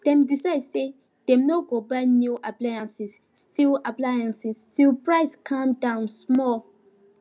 dem decide say them no go buy new appliances till appliances till price calm down small